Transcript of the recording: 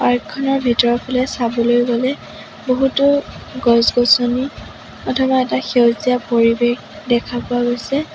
পাৰ্কখনৰ ভিতৰৰ ফালে চাবলৈ গ'লে বহুতো গছ-গছনি অথবা এটা সেউজীয়া পৰিৱেশ দেখা পোৱা গৈছে।